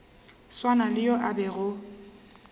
swana le yo a bego